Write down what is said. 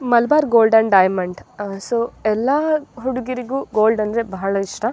Malabar gold and diamond ಅ so ಎಲ್ಲ ಹುಡುಗಿರಿಗೂ ಗೋಲ್ಡ್ ಅಂದ್ರೆ ಬಹಳ ಇಷ್ಟ --